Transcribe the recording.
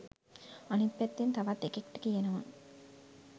අනිත් පැත්තෙන් තවත් එකෙක්ට කියනවා